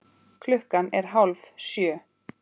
Klukkan er hálf sjö.